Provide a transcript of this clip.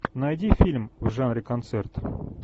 найди фильм в жанре концерт